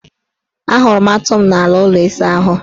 Ahụrụ m atụ m n' ala ụlọ isaahụ.